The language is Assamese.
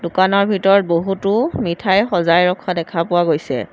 দোকানৰ ভিতৰত বহুতো মিঠাই সজাই ৰখা দেখা পোৱা গৈছে।